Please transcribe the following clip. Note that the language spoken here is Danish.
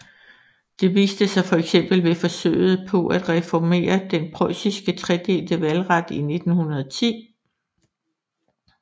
Det viste sig fx ved forsøget på at reformere den preussiske tredelte valgret i 1910